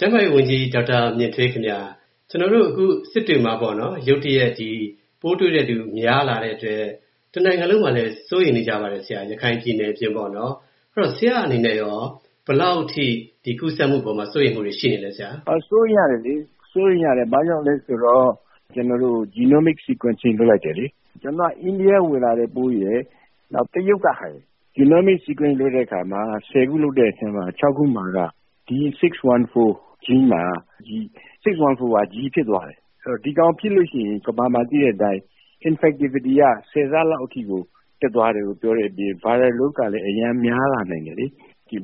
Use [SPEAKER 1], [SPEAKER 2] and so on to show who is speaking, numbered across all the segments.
[SPEAKER 1] ျန်းမာရေးဝန်ကြီး ဒေါက်တာ မြင့်ထွေး ခင်ဗျ၊ ကျနော်တို့အခု စစ်တွေမှာ ရုတ်တရက် ပိုးတွေ့သူ များလာတဲ့အတွက် တနိုင်ငံလုံးမှာလည်း စိုးရိမ်နေပါတယ်၊ ရခိုင်ပြည်နယ် အပြင်ပေါ့နော် အဲဒီတော့ ဆရာ့အနေနဲ့ရော ဒီကူးစက်မှုအပေါ်မှာ ဘယ်လောက်ထိ စိုးရိမ်မှုတွေ ရှိနေသလဲဆရာ။
[SPEAKER 2] ဒေါက်တာ မြင့်ထွေး။ ။ စိုးရိမ်ရတယ်လေ၊ ဘာကြောင့်လဲဆိုတော့ ကျွန်တော်တို့ Genomic Sequencing လုပ်လိုက်တယ်လေ၊ ကျနော်တို့ အိန္ဒိယက ဝင်လာတဲ့ပိုးရယ် နောက်တရုတ်က ဝင်လာတဲ့ပိုးရယ် Genomic Sequencing လုပ်လိုက်တဲ့အခါမှာ ခု လုပ်တဲ့အထဲမှာ ခုက D614 Gene မှာ၊ D614 က G ဖြစ် ဖြစ်သွားတယ်။ ဆိုတော့ ဒီကောင် ဖြစ်လို့ရှိရင် ကမ္ဘာမှာ သိတဲ့အတိုင်း infectivity က ၁၀ ဆလောက်အထိကို တက်သွားတယ်လို့ ပြောတဲ့အပြင် Viral Load ကလည်း အရမ်းများလာနိုင်တယ်လေ။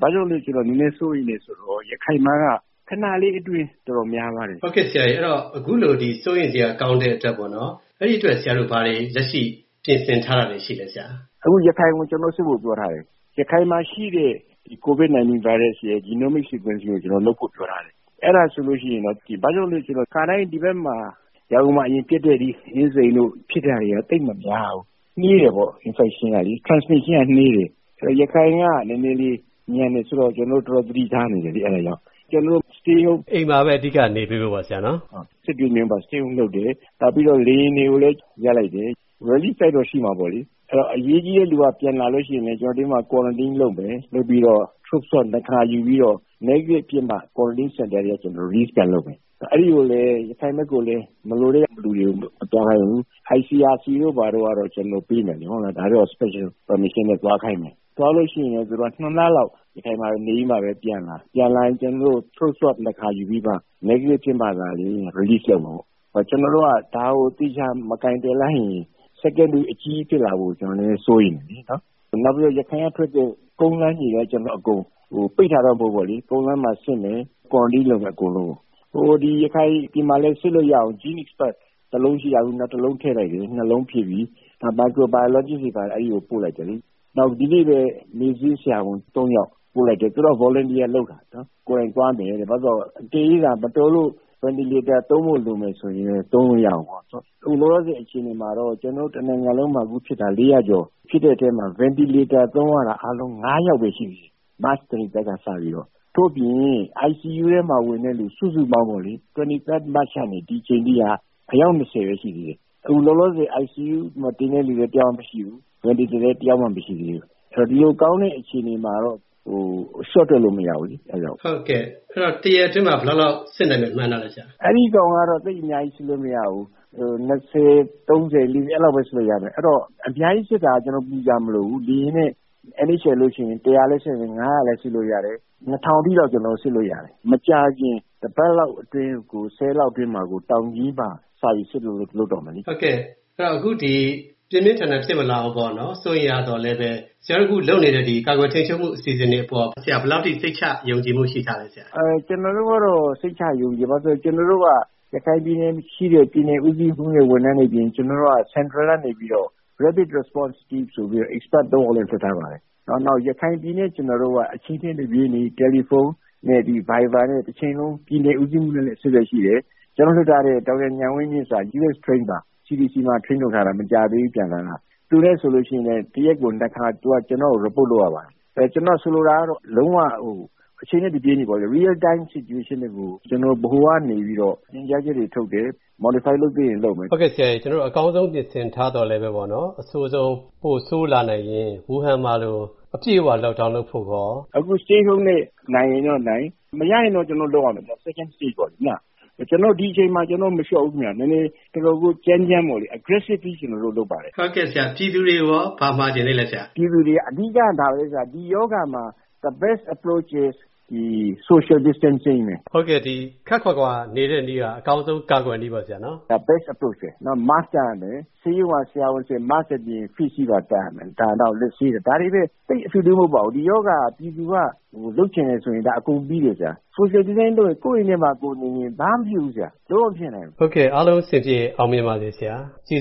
[SPEAKER 2] ဘာကြောင့်လဲဆိုတော့ နည်းနည်းစိုးရိမ်တယ်ဆိုတာက ရခိုင်မှာက ခဏလေးအတွင်း တော်တေ်ာများသွားတယ်။ ကိုဝင်းမင်း ။ ။ ဟုတ်ကဲ့ အခုလို စိုးရိမ်စရာကောင်းတဲ့အ
[SPEAKER 1] တွက် အဲဒီအတွက် ဘာတွေ လက်ရှိ ပြင်ဆင်ထားတာတွေ ရှိသလဲ။
[SPEAKER 2] ဒေါက်တာ မြင့်ထွေး။ ။ အခု ရခိုင်ကို ကျနော်တို့ စစ်ဖို့ ပြောထားတယ်။ ရခိုင်မှာ ရှိတဲ့ COVID- 19 ဗိုင်းရပ်စ်ရဲ့ Genome Sequencing ကို လုပ်ဖို့ပြောထားတယ်။ ဘာကြောင့်လဲဆိုတော့ ခါတိုင်း ဒီဘက် ရန်ကုန်မှာဖြစ်တဲ့ ဒီ အင်းစိန်တို့ ဖြစ်တာတွေက သိပ်မများဘူး၊ နှေးတယ်ပေါ့ Infection ကလေ ၊ transmission က နှေးတယ်။ ဆိုတော့ ရခိုင်က နည်းနည်းလေး မြန်တယ်ဆိုတော့ ကျနော်တို့ တော်တော် သတိထားနေတယ်။ အဲ့ဒါကြောင့်၊ ကျွန်တော်တ
[SPEAKER 1] ို့ Stay Home ။ ကိုဝင်းမင်း ။ ။ အိမ်မှာပဲ အဓိက နေပေးဖို့ပေါ့နော် ဆရာ။ ဒေါက
[SPEAKER 2] ်တာ မြင့်ထွေး။ ။ ဟုတ်၊ စစ်တွေမှာက Stay Home လုပ်တယ်။ နောက်ပြီးတော့ လေယာဉ်တွေကိုလည်း ရပ်လိုက်တယ်။ Relief flight တော့ ရှိမှာပေါ့လေ။ အရေးကြီးတဲ့လူတွေက ပြန်လာရင်လည်း Quarantine လုပ်မယ်၊ လုပ်ပြီးတော့ Throat Swab နှစ်ခါယူပြီးတော့၊ Negative ဖြစ်မှ Quarantine Center ကနေ Release ပြန်လုပ်မယ်။ ပြီးတော့ ရခိုင်ဘက်ကိုလည်း မလိုတဲ့လူတွေကို မသွားခိုင်းဘူး။ ICRC တို့ကတော့ ကျနော်တို့ပေးမယ် ဒါကတော့ Special Permission နဲ့ သွားခိုင်းမယ် ။ သွားရင်လည်း သူက လလောက် ရခိုင်မှာ နေပြီးတော့မှ ပြန်လာ၊ ပြန်လာရင်လည်း ကျနော်တို့ Throat Swab နှစ်ခါယူပြီးတော့မှ၊ Negative ဖြစ်မှ သာလျှင်၊ Release လုပ်မှာပေါ့နော်။ ကျွန်တော်တို့က ဒါကို သေချာမကိုင်တွယ်လိုက်ရင် Second Wave အကြီးကြီးဖြစ်လာမှာကို ကျနော်တို့ စိုးရိမ်တယ်လ
[SPEAKER 1] ေ။
[SPEAKER 2] နောက်ပြီးတော့ ရခိုင်ကထွက်တဲ့ ကုန်းလမ်းရေလမ်းအကုန် ပိတ်တာတော့ မဟုတ်ဘူး၊ ကုန်းလမ်းမှာလည်း စစ်မယ်၊ Quarantine လုပ် မယ်၊ အကုန်လုံးကို။ ရခိုင်မှာလည်း စစ်လို့ရအောင် GeneXpert စက်တစ်လုံးရှိတာကနေ နောက်တစ်လုံးထည့်လိုက်တယ် စက် လုံးဖြစ်ပြီ။ နောက်ပြီး Microbiologist တွေကိုလည်း အဲဒီကို ပို့လိုက်တယ်လေ။ နောက်ဒီနေ့ပဲ မေ့ဆေးဆရာဝန် ယောက်ကိုပို့လိုက်တယ် သူတို့က Volunteer လုပ်တာ ၊ ကိုယ်တိုင်သွားမယ်တဲ့။ အကယ်၍ မတော်လို့ Ventilator သုံးဖို့လိုတယ်ဆိုရင်လည်း Ventilator သုံးလို့ရအောင်ပေါ့နော်။ အခု လောလောဆယ်အခြေအနေမှာတော့ ဒီမှာ ကျနော်တို့ တနိုင်ငံလုံးမှာဖြစ်တာ ကျော် ဖြစ်တဲ့အထဲမှာ Ventilator သုံးရတာ အားလုံး ယောက်ပဲ ရှိသေးတယ်၊ မတ်လ 23rd ကနေ စပြီးတော့။ ဒါ့အပြင် ICU ထဲမှာ ဝင်တာ စုစုပေါင်းပေါ့လေ ၂၃ မတ်ကနေ ဒီအချိန်အထိက အယောက် ပဲ ရှိသေးတယ်။ အခုလောလောဆည် ICU ထဲမှာ တင်တဲ့လူလည်း တစ်ယောက်မှ မရှိသေးဘူး။ Ventilator တင်တာလည်း တစ်ယောက်မှ မရှိသေးဘူး။ ဆိုတော့ ဒီလိုကောင်းတဲ့အခြေအနေမှာတော့ လျှော့တွက်လို့တော့ မရဘူးလေ။ ကိုဝင်းမင်း ။ ။
[SPEAKER 1] ဟုတ်ကဲ့ အဲဒီတော့ တစ်ရက်အတွင်းမှာ ဘယ်လောက်လောက် စစ်နိုင်မယ် မှန်းထားသလဲဆရာ။
[SPEAKER 2] ဒေါက်တာ မြင့်ထွေး။ ။ အဲဒါကတော့ သိပ်အများကြီး စစ်လို့မရဘူး ၂၀၊ ၃၀၊ ၄၀ အဲလောက်ပဲ စစ်လို့ရမယ်။ အဲဒီတော့ အများကြီးစစ်တာကတော့ ကျနော်တို့ ပူစရာမလိုဘူး။ လေယာဉ်နဲ့ NHL တို့လိုကို ပို့စစ်လျှင် လည်း စစ်နိုင်တယ် လည်း စစ်လို့ရတယ်။ အထိတော့ ကျနော်တို့ စစ်လို့ရတယ် ။ မကြာခင် တစ်ပတ်လောက်အတွင်းကို ရက်လောက်အတွင်းမှာကို တောင်ကြီးမှာ စပြီး စစ်ဖို့လုပ်တော့မယ်လေ။ ကိုဝ
[SPEAKER 1] င်းမင်း ။ ။ အခုပြင်းပြင်းထန်ထန် ဖြစ်မလာအောင် စိုးရိမ်ရသော်လည်း ဆရာတို့အခု လုပ်နေတဲ့ ကာကွယ်ထိန်းချုပ်မှု အစီအစဉ်တွေအပေါ် ဆရာတို့ ဘယ်လောက်အထိ စိတ်ချ ယုံကြည်မှု ရှိထားသလ
[SPEAKER 2] ဲ။ ဒေါက်တာ မြင့်ထွေး။ ။ ကျနော်တို့ကတော့ စိတ်ချ ယုံကြည်တယ်။ ဘာလို့လဲဆိုတော့ ရခိုင်ပြည်နယ်မှာ ရှိတဲ့ ပြည်နယ်ဦးစီးမှူး တွေ ဝန်ထမ်းတွေအပြင် ကျနော်တို့က Central ကနေပြီးတော့ Rapid Response Team ဆိုပြီးတော့ Expert ယောက်လည်း လွှတ်ထားပါတယ်။ နောက်ပြီးတော့ ရခိုင်ပြည်နယ်နဲ့ ကျနော်တို့က အချိန်နဲ့ တပြေးညီ တယ်လီဖုန်းနဲ့ အင်တာနက်ဗိုင်ဘာ နဲ့ တချိန်လုံး ပြည်နယ်ဦးစီးမှူးနဲ့လည်း အဆက်အသွယ်ရှိပါတယ်။ ကျွန်တော်တို့ လွှတ်ထားတဲ့ ဒေါက်တာ ဉာဏ်ဝင်းမြင့်က U.S train ပါ၊ CDC မှာ train လုပ်ထားတာ၊ မကြာသေးဘူး ပြန်လာတာ။ သူနဲ့ဆိုရင် တစ်ရက်ကို ခါ သူက ကျနော့်ကို Report လုပ်ရပါတယ်။ ကျွန်တော်ဆိုလိုတာက လုံးဝကို အချိန်နဲ့ တပြေးညီ Real Time Situation ကို ကျနော်ဗဟိုကနေပြီးတော့ ညွှန်ကြားချက်တွေ ထုတ်တယ်၊ Modify လုပ်သင့်ရင်လုပ်မယ်။ ကိ
[SPEAKER 1] ုဝင်းမင်း ။ ။ ဟုတ်ကဲ့ဆရာရေ ကျနော်တို့ အကောင်းဆုံးပြင်ဆင်ထားသော်လည်း အဆိုးဆုံး ပိုဆိုးလာနိုင်ရင် ဝူဟန် မှာလို အပြည့်အဝ Lock down လုပ်ဖို့ကိုရော။
[SPEAKER 2] ဒေါက်တာ မြင့်ထွေး။ ။ အခု Stay Home နဲ့ နိုင်ရင်နိုင်၊ မရရင် ကျနော်တို့ လုပ်ရမယ်၊ Second Stage ့ ပေါ့နော် ။ ဒါပေမယ့် ဒီအချိန်မှာ ကျနော်တို့ မလျှော့ဘူးခင်ဗျ။ နည်းနည်းတော်တော်ကို ကြမ်းကြမ်းပေါ့လေ၊ Aggressively ကျနော်တို့လုပ်ပါတယ်။ က
[SPEAKER 1] ိုဝင်းမင်း ။ ။ ဟုတ်ကဲ့ဆရာ ပြည်သူတွေကိုရော ဘာမှာချင်သေးသလဲ။
[SPEAKER 2] ဒေါက်တာ မြင့်ထွေး။ ။ အဓိကတော့ ဒါပဲ
[SPEAKER 1] ၊ ဒီရောဂါမှာ The Best Approach is
[SPEAKER 2] ဒီ Social Distancing ပဲ။ ကိုဝင်းမင်း ။ ။ ဟု
[SPEAKER 1] တ်ကဲ့ ခပ်ခွာခွာနေတဲ့နည်းက အကောင်းဆုံးကာကွယ်နည်းပဲပေါ့နော် ဆရာ။ ဒေါက်တာ မြင့်ထွေး။ ။ ဒါက The Best Approach ပဲ ။ နောက် Mask တပ်ရမယ
[SPEAKER 2] ်၊ ဆေးရုံကဆရာဝန်တွေက Mask အပြင် Face shield ပါ တပ်ရမယ်၊ နောက် လက်ဆေးတာ။ ဒါတွေပဲ သိပ်ထွေထွေထူးထူးမဟုတ်ပါဘူး။ ဒီရောဂါ ကို ပြည်သူက လုပ်ချင်တယ်ဆိုရင် အကုန်ပြီးတယ်ဗျာ၊ Social Distancing လုပ်လျှင်၊ ကိုယ့်အိမ်ထဲမှာ ကိုယ်နေလျှင် ဒါက ဘာမှမဖြစ်ဘူး၊ လုံးဝမဖြစ်နိုင်
[SPEAKER 1] ဘူး။ ကိုဝင်းမင်း ။ ။ ဟုတ်ကဲ့ အားလုံးအဆင်ပြေအောင်မြင်ပါစေဆရာ ကျေးဇူး